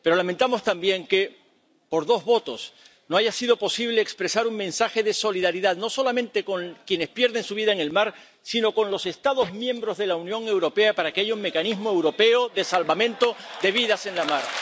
Pero lamentamos también que, por dos votos, no haya sido posible expresar un mensaje de solidaridad, no solamente con quienes pierden su vida en el mar, sino con los Estados miembros de la Unión Europea, para que haya un mecanismo europeo de salvamento de vidas en la mar.